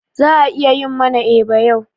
Za'a yi mana eba yau.